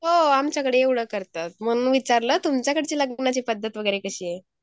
हो आमच्याकडे एवढं करतात. म्हणून विचारलं तुमच्याकडची लग्नाची पद्धत वगैरे कशी आहे?